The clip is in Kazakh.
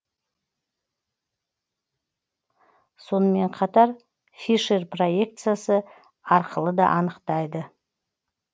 сонымен қатар фишер проекциясы арқылы да анықтайды